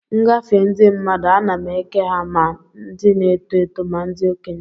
M gafee ndị mmadụ, ana m eke ha ma ndị n'eto eto ma ndị okenye.